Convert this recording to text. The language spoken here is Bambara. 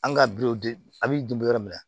An ka bi a b'i dun yɔrɔ min na